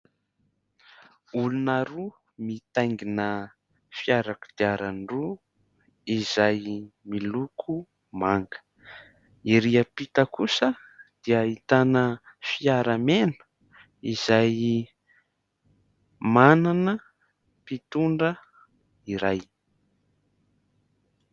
Olona roa mitaingina fiara kodiaran-droa izay miloko manga. Ery ampita kosa dia ahitana fiara mena izay manana mpitondra iray.